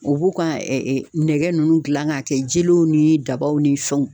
U b'u ka ɛ ɛ nɛgɛ nunnu dilan k'a kɛ jelew ni dabaw ni fɛnw